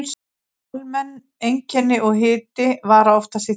Almenn einkenni og hiti vara oftast í þrjá daga.